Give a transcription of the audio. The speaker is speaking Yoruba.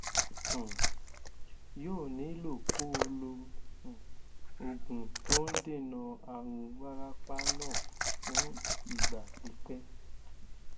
um yóò nílò kó o lo um oògùn tó ń dènà àrùn wárápá náà fún ìgbà pípẹ